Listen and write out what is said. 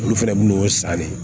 Olu fɛnɛ b'u san ne